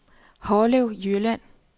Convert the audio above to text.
Harlev Jylland